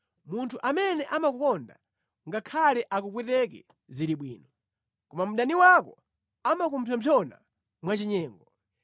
Munthu amene amakukonda ngakhale akupweteke zili bwino, koma mdani wako amakupsompsona mwachinyengo.